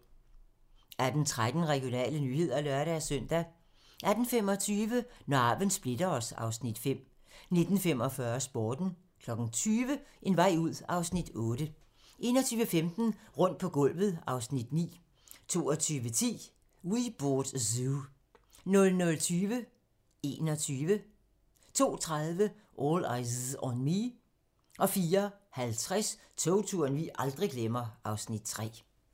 18:13: Regionale nyheder (lør-søn) 18:25: Når arven splitter os (Afs. 5) 19:45: Sporten 20:00: En vej ud (Afs. 8) 21:15: Rundt på gulvet (Afs. 9) 22:10: We Bought a Zoo 00:20: 21 02:30: All Eyez on Me 04:50: Togturen vi aldrig glemmer (Afs. 3)